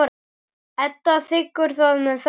Edda þiggur það með þökkum.